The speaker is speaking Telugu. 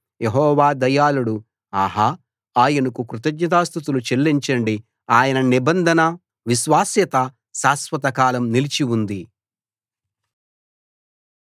యెహోవా దయాళుడు ఆహా ఆయనకు కృతజ్ఞతాస్తుతులు చెల్లించండి ఆయన నిబంధన విశ్వాస్యత శాశ్వతకాలం నిలిచి ఉంది